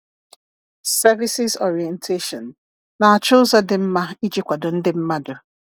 Services Orientation—Na-achọ ụzọ dị mma iji kwado ndị mmadụ.